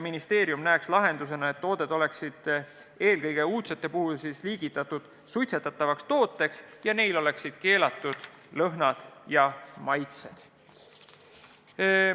Ministeerium näeks lahendusena, et tooted oleksid – eelkõige uudsed tooted – liigitatud suitsetatavate toodete alla ja neil oleks keelatud lõhn ja maitse.